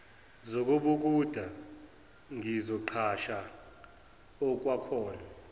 zokubhukuda ngizoqhasha okwakhona